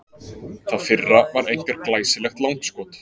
Það fyrra var einkar glæsilegt langskot.